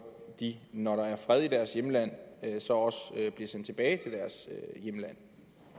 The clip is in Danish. de når der er fred i deres hjemland så også bliver sendt tilbage til deres hjemland